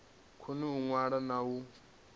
koni u ṅwala na u